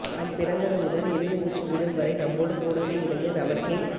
நாம் பிறந்தது முதல் இறுதி மூச்சு விடும்வரை நம்மோடு கூடவே இருந்து நமக்கே